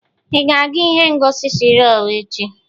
Ị ga-aga ihe ngosi Spryo echi?